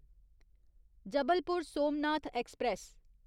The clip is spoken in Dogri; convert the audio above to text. जबलपुर सोमनाथ ऐक्सप्रैस